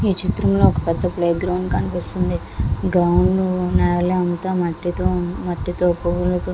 ఈ చిత్రంలో మనకు పెద్ద ప్లే గ్రౌండ్ కనబడుతుంది. గ్రౌండ్ అంత నెలతో మట్టితో కుడి --